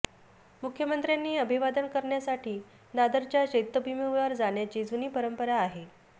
मुख्यमंत्र्यांनी अभिवादन करण्यासाठी दादरच्या चैत्यभूमीवर जाण्याची जुनी परंपरा आहे